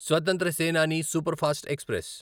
స్వతంత్ర Senani superfast express